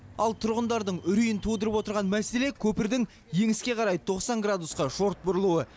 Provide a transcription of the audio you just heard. ал тұрғындардың үрейін тудырып отырған мәселе көпірдің еңіске қарай тоқсан градусқа шорт бұрылуы